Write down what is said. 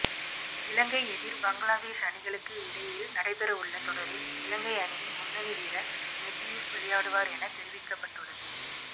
இலங்கை எதிர் பங்களாதேஷ் அணிகளுக்கு இடையில் நடைபெறவுள்ள தொடரில் இலங்கை அணியின் முன்னனி வீரர் மெத்தியூஸ் விளையாடுவார் என தெரிவிக்கபட்டுள்ளது